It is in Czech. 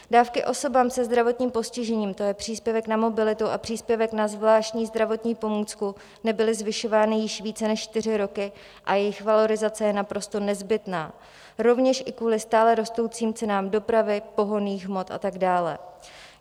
Dávky osobám se zdravotním postižením, to je příspěvek na mobilitu a příspěvek na zvláštní zdravotní pomůcku, nebyly zvyšovány již více než čtyři roky a jejich valorizace je naprosto nezbytná rovněž i kvůli stále rostoucím cenám dopravy, pohonných hmot a tak dále.